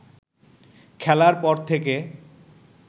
খেলার পর থেকে